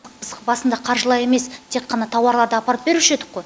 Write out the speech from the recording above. біз басында қаржылай емес тек қана тауарларды апарып беруші едік қо